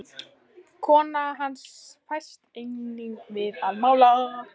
Kona hans fæst einnig við að mála.